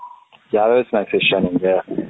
ಯಾವ ಯಾವ snacks ಇಷ್ಟ ನಿನಗೆ ?